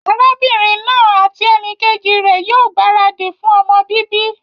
Arábínrin naa àti enìkejì rè ní yío gbàradì fun ọmọ bíbí